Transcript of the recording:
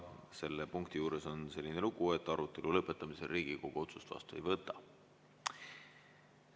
Selle punkti juures on selline lugu, et arutelu lõpetamisel Riigikogu otsust vastu ei võta.